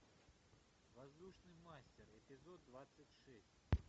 воздушный мастер эпизод двадцать шесть